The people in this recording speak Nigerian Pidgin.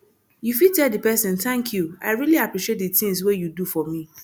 you fit tell di person thank you i really appreciate di things wey you do for me